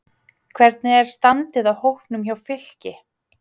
Hvernig er standið á hópnum hjá Fylki?